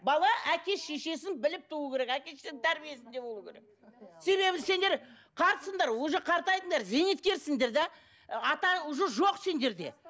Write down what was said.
бала әке шешесін біліп туу керек әке шешесінің тәрбиесінде болу керек себебі сендер қартсыңдар уже қартайдыңдар зейнеткерсіңдер де і ата уже жоқ сендерде